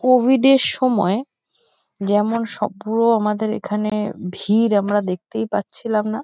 Covid -এর সময় যেমন সব পুরো আমাদের এখানে ভীড় আমরা দেখতেই পাচ্ছিলাম না।